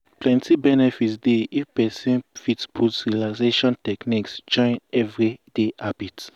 plenty benefit dey if person fit put relaxation techniques join everyday habit.